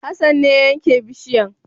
Hassan ne ya yanke bishiyan